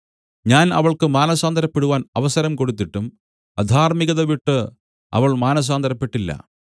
ഞാൻ അവൾക്ക് മാനസാന്തരപ്പെടുവാൻ അവസരം കൊടുത്തിട്ടും അധാർമ്മികത വിട്ടു അവൾ മാനസാന്തരപ്പെട്ടില്ല